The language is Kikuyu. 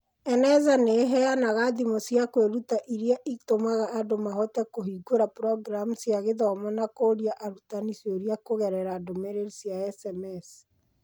Eneza nĩ ĩheanaga thimũ cia kwĩruta iria itũmaga andũ mahote kũhingũra programu cia gĩthomo na kũũria arutani ciũria kũgerera ndũmĩrĩri cia SMS.